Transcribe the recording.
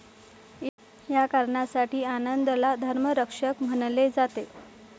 या कारणासाठी आनंदला धर्मरक्षक म्हणले जाते.